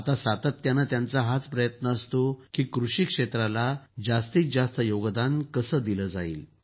आता सातत्यानं त्यांचा हाच प्रयत्न असतो की कृषी क्षेत्राला जास्तीत जास्त कसे योगदान दिलं जावं